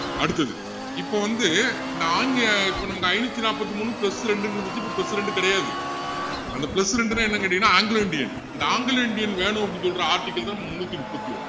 அடுத்தது இப்போ வந்து இந்த ஆங்க~ இப்போ நமக்கு ஐநூத்து நாற்பத்து மூணு plus ரெண்டுன்னு இருந்திச்சு இப்போ plus ரெண்டு கிடையாது அந்த plus ரெண்டுன்னா என்னன்னு கேட்டீங்கன்னா anglo indian அந்த anglo indian வேணும் அப்படின்னு சொல்ற ஆட்கள் முந்நூத்தி முப்பத்து ஒண்ணு